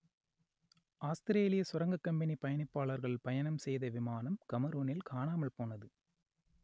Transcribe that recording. ஆஸ்திரேலியச் சுரங்கக் கம்பனி பயணிப்பாளர்கள் பயணம் செய்த விமானம் கமரூனில் காணாமல் போனது